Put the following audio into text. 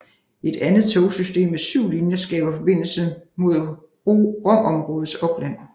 Et andet togsystem med syv linjer skaber forbindelse med Romområdets opland